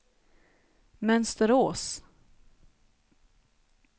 Mönsterås